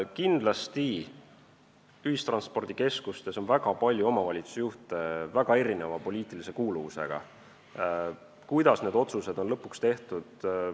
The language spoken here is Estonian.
Kindlasti on ühistranspordikeskustes palju väga erineva poliitilise kuuluvusega omavalitsusjuhte ja nendest sõltub, kuidas need otsused lõpuks tehakse.